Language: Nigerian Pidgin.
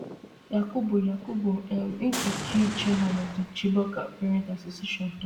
yakubu yakubu um nkeki chairman of di chibok parents association tok